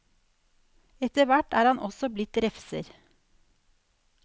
Etter hvert er han også blitt refser.